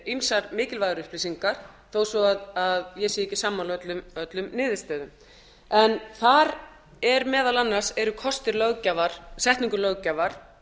ýmsar mikilvægar upplýsingar þó ég sé ekki sammála öllum niðurstöðum en þar eru meðal annars kostir setningu löggjafar